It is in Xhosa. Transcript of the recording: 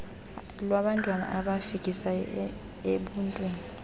lwabantwana abafikisayo ebuntwini